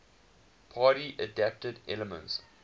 party adapted elements